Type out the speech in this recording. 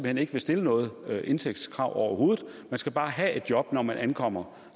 hen ikke vil stille noget indtægtskrav overhovedet man skal bare have et job når man ankommer